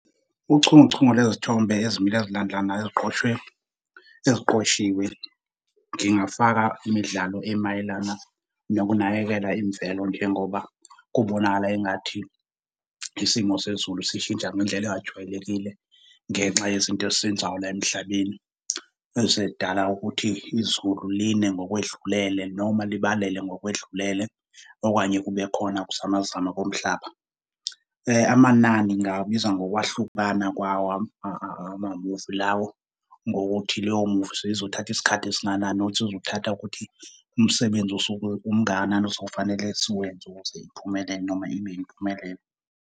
Uchungechunge lwezithombe ezimile ezilandelanayo eziqhoshwe eziqoshiwe, ngingafaka imidlalo emayelana nokunakekela imvelo njengoba kubonakala engathi isimo sezulu sishintsha ngendlela engajwayelekile, ngenxa yezinto esizenzayo la emhlabeni ezidala ukuthi izulu line ngokwedlulele noma libalele ngokwedlulele okanye kubekhona ukuzamazama komhlaba. Amanani ngingawabiza ngokwahlukana kwawo amamuvi lawo, ngokuthi leyo muvi seyizothatha isikhathi esingakanani nokuthi kuzothatha ukuthi umsebenzi osuke umngakanani osewufanele siwenze ukuze iphumelele noma ibe impumelelo.